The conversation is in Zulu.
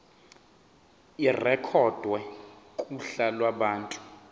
irekhodwe kuhla lwabantu